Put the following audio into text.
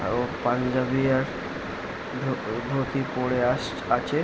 আও পাঞ্জাবী আর ধু ধুতি পরে আছ আছে ।